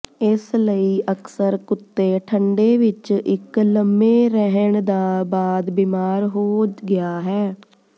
ਇਸ ਲਈ ਅਕਸਰ ਕੁੱਤੇ ਠੰਡੇ ਵਿੱਚ ਇੱਕ ਲੰਮੇ ਰਹਿਣ ਦਾ ਬਾਅਦ ਬੀਮਾਰ ਹੋ ਗਿਆ ਹੈ